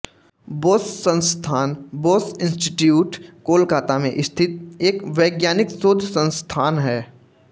बोस संस्थान बोस इंस्टीट्यूट कोलकाता में स्थित एक वैज्ञानिक शोध संस्थान है